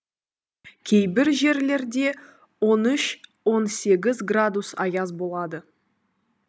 кейбір жерлерде он үш он сегіз градус аяз болады